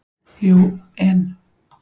Jú, en.